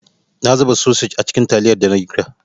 Na zuba sosej a cikin taliyar dana girka.